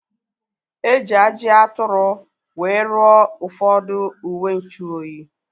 Eji ajị atụrụ wee rụọ ụfọdụ uwenchuoyi